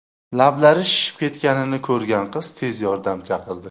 Lablari shishib ketganini ko‘rgan qiz tez yordam chaqirdi.